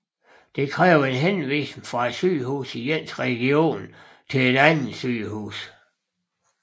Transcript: Det kræver en henvisning fra sygehuset i ens region til det andet sygehus